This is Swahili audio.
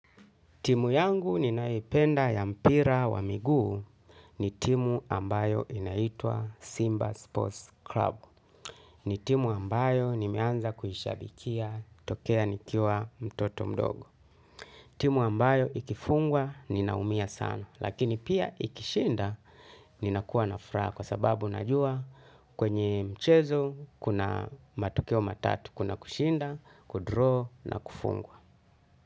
Timu yangu ninayoipenda ya mpira wa miguu, ni timu ambayo inaitwa Simba Sports Club. Ni timu ambayo nimeanza kuishabikia tokea nikiwa mtoto mdogo. Timu ambayo ikifungwa ninaumia sana lakini pia ikishinda, ninakuwa na furaha kwa sababu najua kwenye mchezo kuna matokeo matatu kuna kushinda, 'kudraw' na kufungwa.